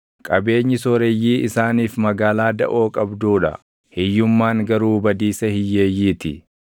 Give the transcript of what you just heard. Qabeenyi sooreyyii isaaniif magaalaa daʼoo qabduu dha; hiyyummaan garuu badiisa hiyyeeyyii ti.